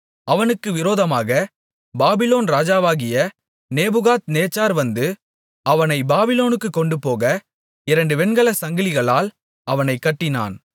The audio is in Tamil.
அவனுக்கு விரோதமாக பாபிலோன் ராஜாவாகிய நேபுகாத்நேச்சார் வந்து அவனை பாபிலோனுக்குக் கொண்டுபோக இரண்டு வெண்கலச் சங்கிலிகளால் அவனைக் கட்டினான்